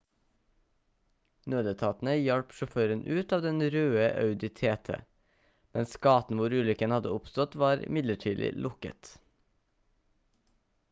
nødetatene hjalp sjåføren ut av den røde audi tt mens gaten hvor ulykken hadde oppstått var midlertidig lukket